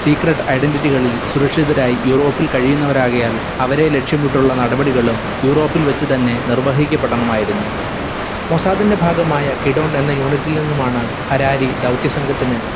secret identity കളിൽ സുരക്ഷിതരായി യൂറോപ്പിൽ കഴിയുന്നവരാകയാൽ അവരെ ലക്ഷ്യംവിട്ടുള്ള നടപടികളും യുറോപിൽ വെച്ചു തന്നെ നിർവഹിക്കപ്പെടണമായിരുന്നു. മൊസാദിന്റെ ഭാഗമായ കിടോൺ എന്ന unit ഇൽ നിന്നുമാണ് ഹരാരി ദൗത്യസംഘത്തിന്